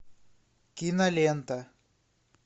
кинолента